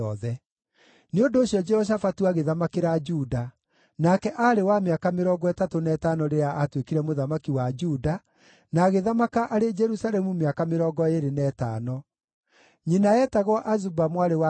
Nĩ ũndũ ũcio, Jehoshafatu agĩthamakĩra Juda; nake aarĩ wa mĩaka mĩrongo ĩtatũ na ĩtano rĩrĩa aatuĩkire mũthamaki wa Juda, na agĩthamaka arĩ Jerusalemu mĩaka mĩrongo ĩĩrĩ na ĩtano. Nyina eetagwo Azuba mwarĩ wa Shilihi.